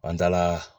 An taala